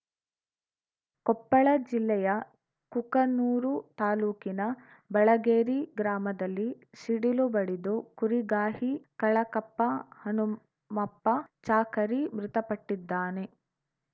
ಕೊಪ್ಪಳ ಜಿಲ್ಲೆಯ ಕುಕನೂರು ತಾಲೂಕಿನ ಬಳಗೇರಿ ಗ್ರಾಮದಲ್ಲಿ ಸಿಡಿಲು ಬಡಿದು ಕುರಿಗಾಹಿ ಕಳಕಪ್ಪ ಹನುಮಪ್ಪ ಚಾಕರಿ ಮೃತಪಟ್ಟಿದ್ದಾನೆ